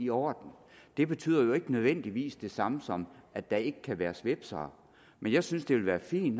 i orden det betyder nødvendigvis ikke det samme som at der ikke kan være nogen svipsere men jeg synes det vil være fint